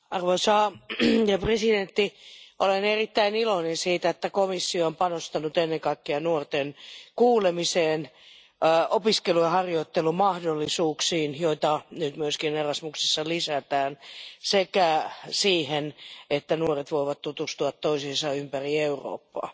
Arvoisa puhemies, olen erittäin iloinen siitä, että komissio on panostanut ennen kaikkea nuorten kuulemiseen ja opiskelu ja harjoittelumahdollisuuksiin, joita nyt myös Erasmuksessa lisätään, sekä siihen, että nuoret voivat tutustua toisiinsa ympäri Eurooppaa.